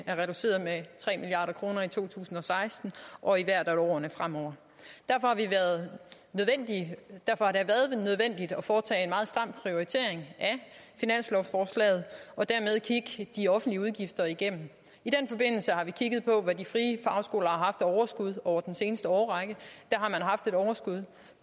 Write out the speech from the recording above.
er reduceret med tre milliard kroner i to tusind og seksten og i hvert af årene fremover derfor har det været nødvendigt at foretage en meget stram prioritering af finanslovsforslaget og dermed kigge de offentlige udgifter igennem i den forbindelse har vi kigget på hvad de frie fagskoler har haft af overskud over den seneste årrække har man haft et overskud